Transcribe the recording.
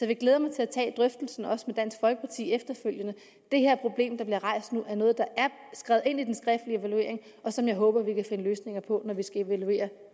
vil glæde mig til at tage drøftelsen efterfølgende også med dansk folkeparti det her problem der bliver rejst nu er noget der er skrevet ind i den skriftlige evaluering og som jeg håber at vi kan finde løsninger på når vi skal evaluere